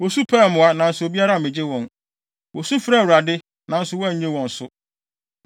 Wosu pɛɛ mmoa, nanso obiara ammegye wɔn. Wosu frɛɛ Awurade, nanso wannye wɔn so.